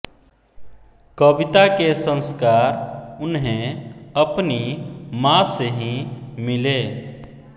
कविता के संस्कार उन्हें अपनी माँ से ही मिले